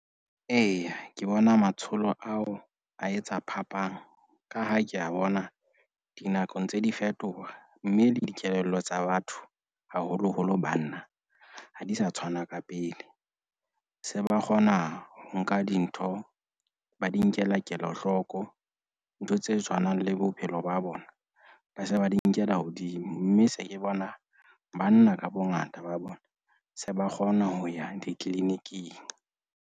Eya, ke bona matsholo ao a etsa phapang ka ha ke a bona dinakong ntse di fetoha, mme le dikelello tsa batho, haholoholo banna ha di sa tshwana ka pele. Se ba kgona ho nka dintho, ba di nkela kelohloko. Ntho tse tshwanang le bophelo ba bona, ba se ba di nkela hodimo. Mme se ke bona banna ka bongata ba bona se ba kgona ho ya di-clinic-ing.